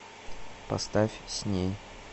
поставь с ней